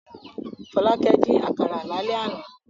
Fọlákẹ́ dín àkàrà lálẹ́ àná.